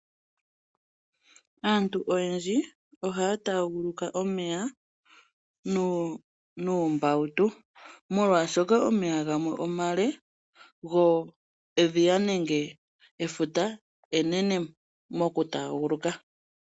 Aantu oyendji ohaataaguluka omeya noombawutu, molwaashoka omeya gamwe omale. Go edhiya nenge efuta enene nokutaaguluka.